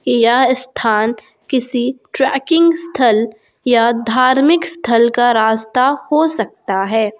यह स्थान किसी ट्रैकिंग स्थल या धार्मिक स्थल का रास्ता हो सकता है।